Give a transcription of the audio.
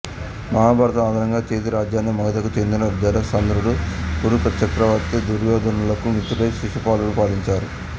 మహాభారతం ఆధారంగా చేది రాజ్యాన్ని మగధకు చెందిన జరాసంధుడు కురుచక్రవర్తి దుర్యోధనులకు మిత్రుడైన శిశుపాలుడు పాలించాడు